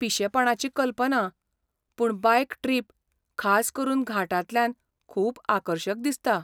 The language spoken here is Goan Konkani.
पिशेपणाची कल्पना, पूण बायक ट्रिप, खास करून घाटांतल्यान खूब आकर्शक दिसता.